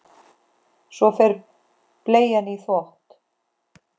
Svo fer bleian í þvott.